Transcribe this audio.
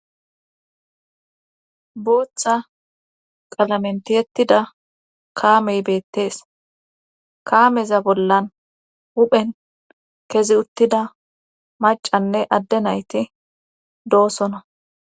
booththa qalamentiyettida kaamey beettees kaameza bollan huphen kezi uttida macanne adde nayti doosona